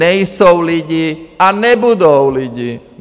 Nejsou lidi a nebudou lidi.